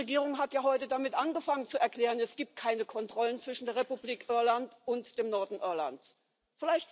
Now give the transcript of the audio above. Die britische Regierung hat ja heute damit angefangen zu erklären, dass es keine Kontrollen zwischen der Republik Irland und dem Norden Irlands gibt.